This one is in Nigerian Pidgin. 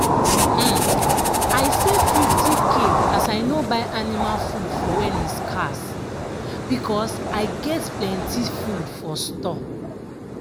um i save 50k as i no buy anima food for wen e scarce because i get plenti food for store.